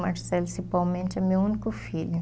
Marcelo, principalmente, é meu único filho.